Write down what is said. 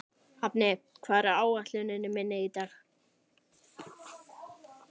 Hafni, hvað er á áætluninni minni í dag?